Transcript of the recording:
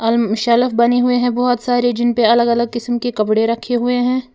Slab बने हुए हैं बहुत सारे जिन पर अलग अलग रंग के कपड़े रखे हुए हैं।